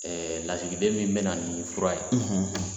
lasigiden min bɛ na ni fura ye